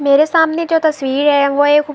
میرے سامنے جو تشویر ہے وو ایک--